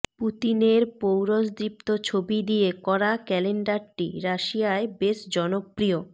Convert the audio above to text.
পুতিনের পৌরুষদীপ্ত ছবি দিয়ে করা ক্যালেণ্ডারটি রাশিয়ায় বেশ জনপ্রিয়